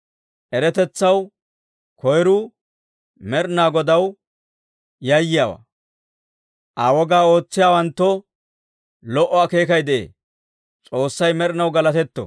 Eratetsaw koyiruu Med'inaa Godaw yayyiyaawaa; Aa wogaa ootsiyaawanttoo lo"o akeekay de'ee. S'oossay med'inaw galatetto!